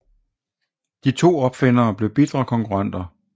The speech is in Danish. De to opfindere blev bitre konkurrenter